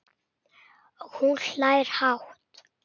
Og hún hlær hátt.